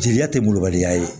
Jeliya tɛ bubaliya ye